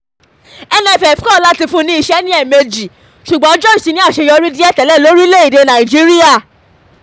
nff kọ̀ láti fún ní iṣẹ́ ní ẹ̀ẹ̀mejì ṣùgbọ́n george ti ní àṣeyọrí díẹ̀ tẹ́lẹ̀ lórílẹ̀‐èdè nàíjíríà